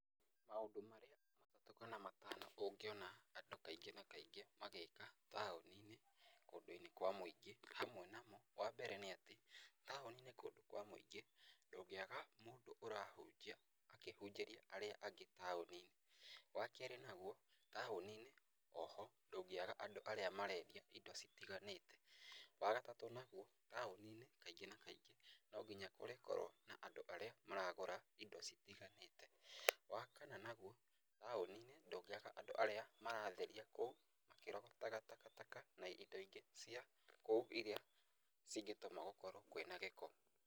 Maũndũ marĩa matatũ kana matano ũngĩona andũ kaingĩ na kaingĩ magĩka taũni-inĩ kũndũ-inĩ kwa mũingĩ, hamwe namo, wa mbere nĩ atĩ, taũni-inĩ kũndũ kwa mũingĩ, ndũngĩaga mũndũ ũrahunjia akĩhunjĩria arĩa angĩ taũni-inĩ, wa kerĩ naguo, taũni-inĩ, o ho ndũngĩaga andũ arĩa marendia indo citiganĩte. Wa gatatũ naguo, taũni-inĩ kaingĩ na kaingĩ, no nginya kũrĩkorwo na andũ arĩa maragũra indo citiganĩte. Wa kana naguo, taũni-inĩ, ndũngĩaga andũ arĩa maratheria kũu makĩrogotaga takataka na indo ingĩ cia kũu irĩa cingĩtũma gũkorwo kwĩna gĩko.